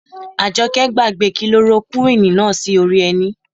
Àjọkẹ́ gbàgbé kilorokúwìnì náà sí orí ẹní